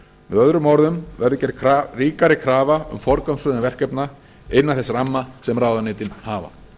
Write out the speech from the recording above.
öðrum orðum verður gerð ríkari krafa um forgangsröðun verkefna innan þess ramma sem ráðuneytin hafa